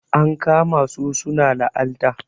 an kama su suna laalta